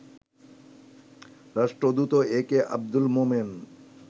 রাষ্ট্রদূত A K Abdul Momen